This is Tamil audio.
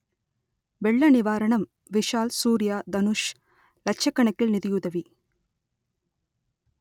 வெள்ள நிவாரணம் விஷால் சூர்யா தனுஷ் லட்சக்கணக்கில் நிதியுதவி